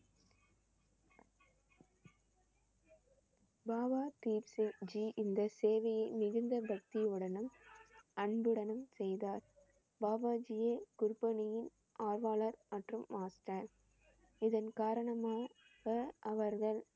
பாபா தீப் சிங் ஜி இந்த சேவையை மிகுந்த பக்தியுடனும் அன்புடனும் செய்தார். பாபா ஜியும் இதன் காரணமாக அவர்கள்